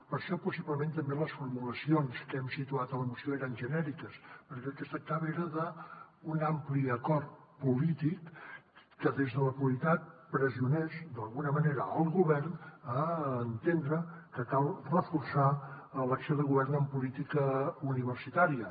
per això possiblement també les formulacions que hem situat a la moció eren genèriques perquè del que es tractava era d’un ampli acord polític que des de la pluralitat pressionés d’alguna manera el govern a entendre que cal reforçar l’acció de govern en política universitària